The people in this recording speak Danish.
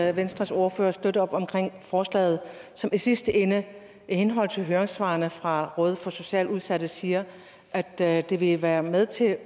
at venstres ordfører støtter forslaget som i sidste ende i henhold til høringssvaret fra rådet for socialt udsatte siger at at det vil være med til